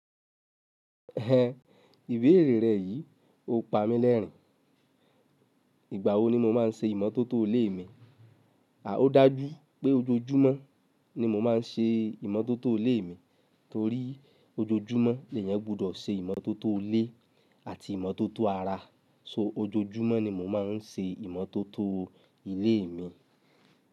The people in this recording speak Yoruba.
Ẹ̀hẹ̀n ìbéèrè rẹ yìí o pa mí lẹ́rìn. Ìgbà wo ni mo má n ṣe ìmọ́tótó ilé mi? A ò dá jú pé ojoojúmọ́ ni mo má n ṣe ìmọ́tótó ilé mi, torí ojoojúmọ́ èèyàn gbọdọ̀ ṣe ìmọ́tótó ilé àti ìmọ́tótó ara. So ojoojúmọ́ ni mo má n ṣe ìmọ́tótó ilé mi.